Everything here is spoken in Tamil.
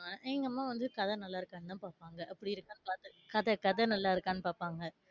ஆஹ் எங்க அம்மா வந்து கதை நல்லா இருக்கானு தான் பாப்பாங்க கதை, கதை நல்லா இருக்கானு பாப்பாங்க,